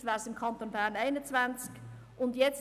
Vielleicht wären es im Kanton Bern 21 Franken.